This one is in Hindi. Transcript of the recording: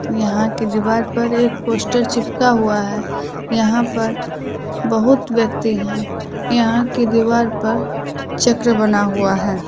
यहां की दीवार पर एक पोस्टर चिपका हुआ है। यहां पर बहुत व्यक्ति हैं। यहां की दीवार पर चक्र बना हुआ है।